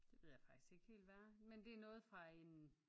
Det ved jeg faktisk ikke helt hvad er men det er noget fra en